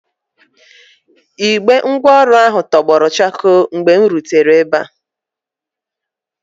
Igbe ngwaọrụ ahụ tọgbọrọ chakoo mgbe m rutere ebe a.